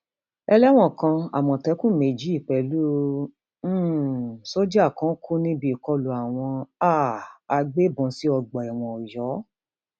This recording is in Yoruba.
ẹlẹwọn kan àmọtẹkùn méjì pẹlú um sójà kan kú níbi ìkọlù àwọn um agbébọn sí ọgbà ẹwọn ọyọ